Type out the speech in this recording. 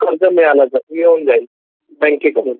आपल्याला कर्ज मिळून जातं बँकेकडून